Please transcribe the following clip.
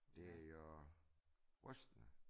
Det jo rystende